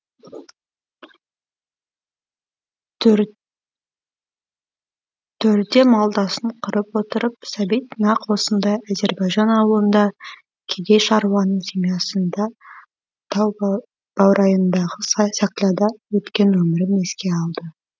төрде малдасын құрып отырып сәбит нақ осындай азербайжан аулында кедей шаруаның семьясында тау баурайындағы сакляда өткен өмірін еске алды